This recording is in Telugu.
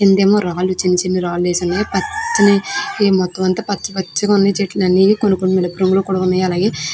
కింద అమో రాళ్లు చిన్నా చిన్నా రాళ్లు వేస ఉన్నాయ్ పచ్చని మొతం అంతా పచ్చ పచ్చగా ఉన్నాయ్ చెట్లన్నీ కొన్ని కొన్ని ఏరుపు రంగులో కూడా ఉన్నాయ్ అలాగే --